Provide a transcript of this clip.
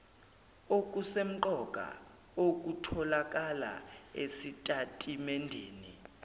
okusemqoka okutholakala esitatimendeni